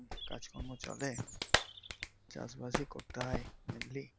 কাজ কর্ম চলে চাষ বাসই করতে হয় mainly